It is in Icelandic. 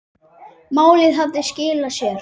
Málið hafði skilað sér.